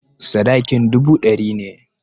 Sadakin dubu ɗari ne.